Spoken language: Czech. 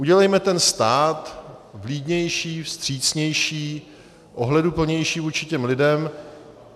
Udělejme ten stát vlídnější, vstřícnější, ohleduplnější vůči těm lidem.